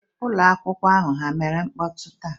Ụmụ akwụkwọ ahụ, ha mere mkpọtụ taa?